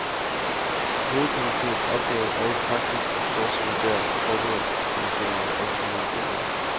Hovedkomiteens opgave er i praksis at fortsætte der, hvor forberedelseskomiteen måtte opgive i januar.